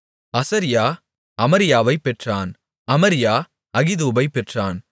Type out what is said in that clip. அசரியா அமரியாவைப் பெற்றான் அமரியா அகிதூபைப் பெற்றான்